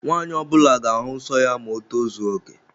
Nwanyi ọbula ga-ahu nsọ ya ma o tozuoke